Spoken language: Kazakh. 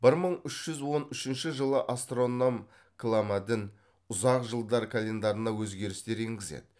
бір мың үш жүз он үшінші жылы астроном кламадін ұзақ жылдар календарына өзгерістер енгізеді